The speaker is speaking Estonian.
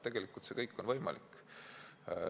Tegelikult on see kõik võimalik.